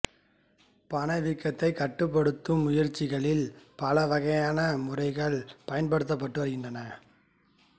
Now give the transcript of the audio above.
பணவீக்கத்தைக் கட்டுப்படுத்தும் முயற்சிகளில் பல வகையான முறைகள் பயன்படுத்தப்பட்டு வருகின்றன